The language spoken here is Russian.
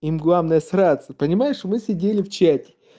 им главное сраться понимаешь мы сидели в чате